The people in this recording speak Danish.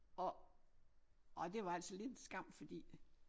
Og og det var altså lidt en skam fordi